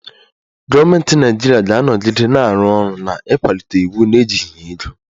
Gọọmentị Naịjirịa ga-anọgide na-arụ ọrụ n'ịkwalite iwu na-ejighị ego